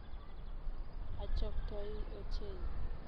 Achoktoi ochei